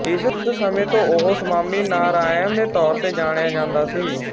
ਇਸ ਸਮੇਂ ਤੋਂ ਉਹ ਸਵਾਮੀਨਾਰਾਇਣ ਦੇ ਤੌਰ ਤੇ ਜਾਣਿਆ ਜਾਂਦਾ ਸੀ